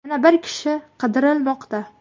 Yana bir kishi qidirilmoqda.